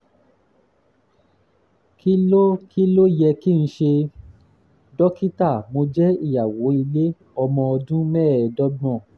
kí ló kí ló yẹ kí n ṣe? dókítà mo jẹ́ ìyàwó ilé ọmọ ọdún mẹ́ẹ̀ẹ́dọ́gbọ̀n